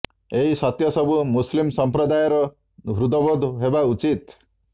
ଏହି ସତ୍ୟ ସବୁ ମୁସ୍ଲିମ ସଂପ୍ରଦାୟର ହୃଦ୍ବୋଧ ହେବା ଉଚିତ୍